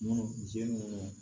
Munnu jiri minnu